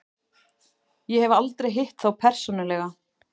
Ég hef aldrei hitt þá persónulega.